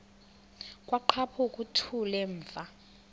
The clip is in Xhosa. kwaqhaphuk uthuli evuma